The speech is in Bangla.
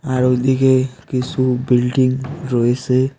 আর ওই দিকে কিসু বিল্ডিং রয়েসে।